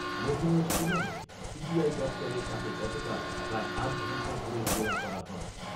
মেঘালয়ের শিলংয়ে সিবিআই দপ্তরে তাকে গতকাল প্রায় আট ঘন্টা ধরে জেরা করা হয়।